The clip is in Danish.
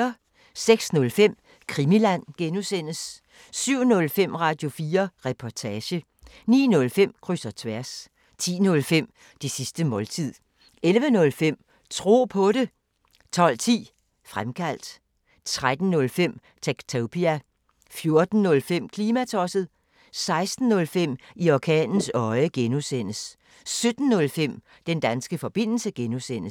06:05: Krimiland (G) 07:05: Radio4 Reportage 09:05: Kryds og tværs 10:05: Det sidste måltid 11:05: Tro på det 12:10: Fremkaldt 13:05: Techtopia 14:05: Klimatosset 16:05: I orkanens øje (G) 17:05: Den danske forbindelse (G)